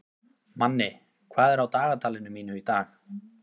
Manni, hvað er á dagatalinu mínu í dag?